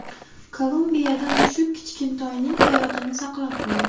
Kolumbiyada mushuk kichkintoyning hayotini saqlab qoldi .